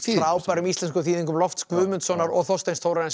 frábærum íslenskum þýðingum lofts Guðmundssonar og Þorsteins